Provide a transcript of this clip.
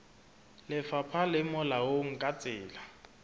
lefapha le molaong ka tsela